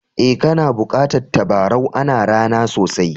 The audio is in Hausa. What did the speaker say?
Eh, kana bukatan tabarau. Ana ra'na sosai.